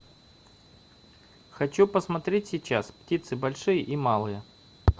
хочу посмотреть сейчас птицы большие и малые